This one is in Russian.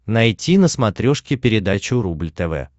найти на смотрешке передачу рубль тв